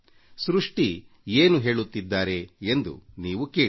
ಸೃಷ್ಟಿ ಏನು ಹೇಳುತ್ತಾರೆ ಎಂಬುದನ್ನು ನೀವೂ ಕೇಳಿ